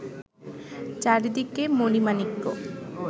চারিদিকে মণি-মাণিক্য